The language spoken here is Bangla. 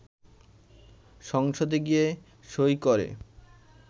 সংসদে গিয়ে সই করে